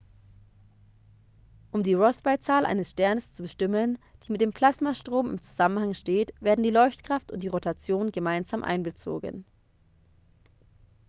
um die rossby-zahl eines sterns zu bestimmen die mit dem plasmastrom in zusammenhang steht werden die leuchtkraft und die rotation gemeinsam einbezogen